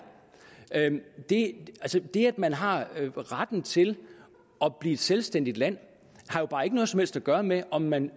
det sådan det er det at man har retten til at blive et selvstændigt land har jo bare ikke noget som helst at gøre med om man